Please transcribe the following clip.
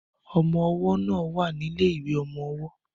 Ọmọ ọwọ́ náà wà ní ilé ìwé ọmọ ọwọ́